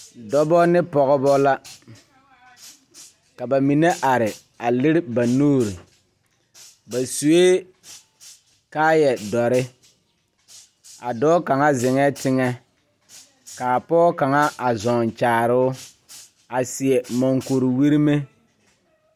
Dɔba ne pɔgeba la ka ba mine are a lere ba nuuri ba sue kaayadɔre a dɔɔ kaŋa zeŋɛɛ teŋɛ k,a pɔge kaŋa a zɔŋ kyaare o a seɛ monkuriwirime.